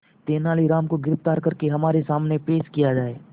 तेनालीराम को गिरफ्तार करके हमारे सामने पेश किया जाए